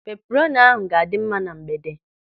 Peperoni ahụ ga-adị mma na mgbede.